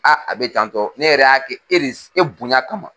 a bɛ tantɔ ne yɛrɛ y'a kɛ e e bonya kama.